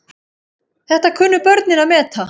Þetta kunnu börnin að meta.